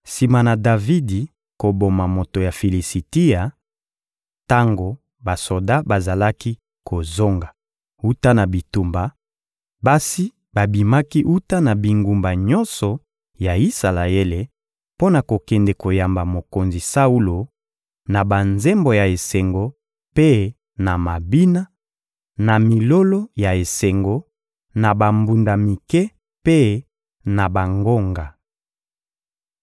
Sima na Davidi koboma moto ya Filisitia, tango basoda bazalaki kozonga wuta na bitumba, basi babimaki wuta na bingumba nyonso ya Isalaele mpo na kokende koyamba mokonzi Saulo, na banzembo ya esengo mpe na mabina, na milolo ya esengo, na bambunda mike mpe na bangonga.